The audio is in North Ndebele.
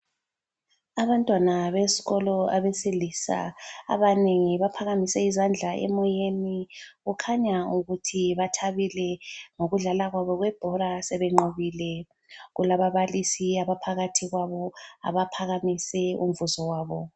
Abantwana besikolo abesilisa, abanengi baphakamise izandla emoyeni, kukhanya ukuthi bathabile ngokudlala kwabo kwebhora sebenqobile. Kulababalisi abaphakathi kwabo, abaphakamise umvuzo wabo.